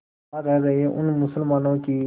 वहां रह रहे उन मुसलमानों की